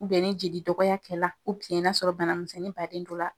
ni jeli dɔgɔya kɛl'a la n'a sɔrɔ bana misɛnnin baden t'o la.